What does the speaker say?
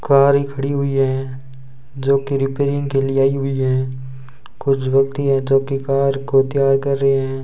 Car ही खड़ी हुई हैं जो की रिपेयरिंग के लिए आई हुई है कुछ व्यक्ति है जो की कार को तैयार कर रहे हैं।